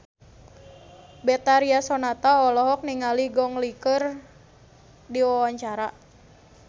Betharia Sonata olohok ningali Gong Li keur diwawancara